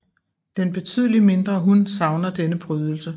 Den betydeligt mindre hun savner denne prydelse